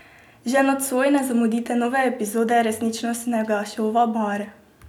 Že nocoj ne zamudite nove epizode resničnostnega šova Bar!